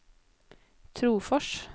Trofors